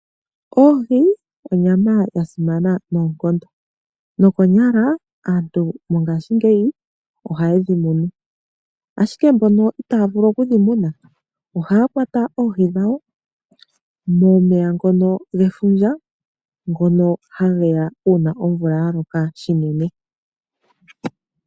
Oohi onyama ya simana noonkondo, nokonyala aantu mongashingeyi ohaye dhi munu, ashike mbono itaa vulu okudhi muna ohaya kwata oohi dhawo momeya ngono gefundja, ngono hage ya uuna omvula ya loka shinene.